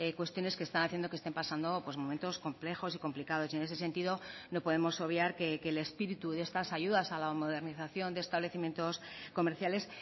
cuestiones que están haciendo que estén pasando momentos complejos y complicados y en ese sentido no podemos obviar que el espíritu de estas ayudas a la modernización de establecimientos comerciales